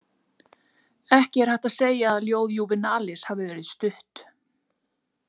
Ekki er hægt að segja að ljóð Júvenalis hafi verið stutt.